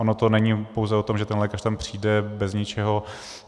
Ono to není pouze o tom, že ten lékař tam přijde bez ničeho.